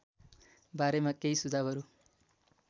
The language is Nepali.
बारेमा केही सुझावहरू